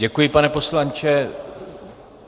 Děkuji, pane poslanče.